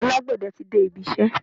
Alágbẹ̀dẹ tí de ibisẹ́.